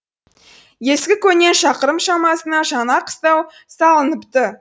ескі көңнен шақырым шамасына жаңа қыстау салыныпты